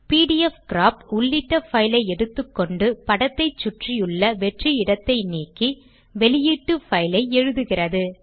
பிடிஎஃப்கிராப் உள்ளிட்ட பைல் ஐ எடுத்துக்கொண்டு படத்தை சுற்றியுள்ள வெற்று இடத்தை நீக்கி வெளியீட்டு பைல் ஐ எழுதுகிறது